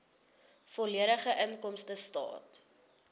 volledige inkomstestaat